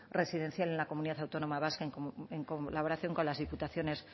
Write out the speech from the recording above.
residencial en la comunidad autónoma vasca en colaboración con las diputaciones